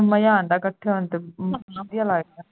ਮਜ਼ਾ ਆਉਂਦਾ ਹੈ ਇਕੱਠੇ ਹੋਣ ਤੇ ਬਹੁਤ ਵਧੀਆ ਲੱਗਦਾ ਹੈ